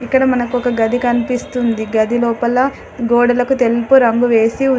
ఇక్కడ మనకు ఒక గది కనిపిస్తుంది. గది లోపల గోడలకు తెల్పు రంగు వేసి ఉంది.